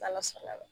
Ala sɔnna a ma